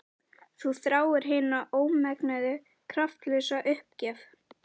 Þú þráir hina ómenguðu kraftlausu uppgjöf.